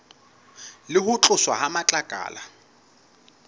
le ho tloswa ha matlakala